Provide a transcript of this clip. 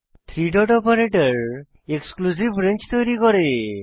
three dot operator exclusive range তৈরী করে